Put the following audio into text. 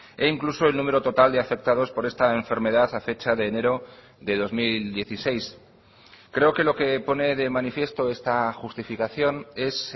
e incluso el número total de afectados por esta enfermedad a fecha de enero de dos mil dieciséis creo que lo que pone de manifiesto esta justificación es